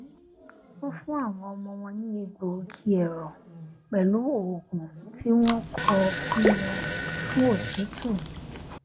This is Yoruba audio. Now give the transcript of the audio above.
wọn fún àwọn ọmọ wọn ní egbògi ẹrọ pẹlú òògùn tí wọn kọ fún wọn fún otútù